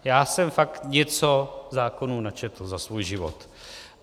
Já jsem fakt něco zákonů načetl za svůj život.